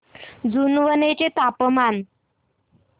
जुनवणे चे तापमान